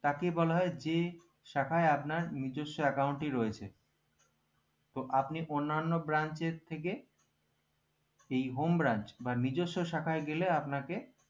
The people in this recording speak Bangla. তাকে বলা হয় যে শাখায় আপনার নিজেস্য account ই রয়েছে তো আপনি অন্যান branch এর থেকে এই home branch বা নেজারস শাখায় গেলে আপনাকে